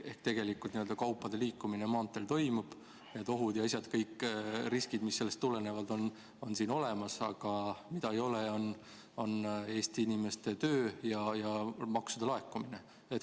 Ehk tegelikult kaupade liikumine maanteel toimub, ohud ja riskid, mis sellest tulenevad, on Eestis olemas, aga mida ei ole, on Eesti inimeste töö ja maksude laekumine.